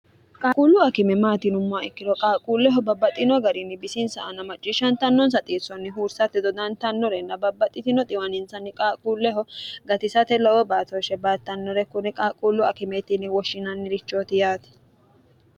qaaquullu akime maati yinummoha ikkiro qaaqquulleho babbaxino garinni bisinsa ana macciishshantannonsa xiissonni huursate dodantannorenna babbaxitino xiwaninsanni qaaquulleho gatisate loolowo baatooshshe baattannore konne qaalquullu akimeeti yine woshshinanni richooti yaate.